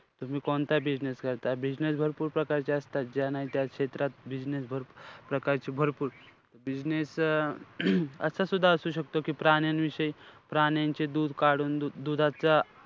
तुम्ही कोणता business करताय. Business भरपूर प्रकारचे असतात. ज्या नाही त्या क्षेत्रात business भर~ भरपूर प्रकारचे भरपूर. Business अं असं सुद्धा असू शकतो की प्राण्यांविषयी, प्राण्यांचे दूध काढून दुधाचा,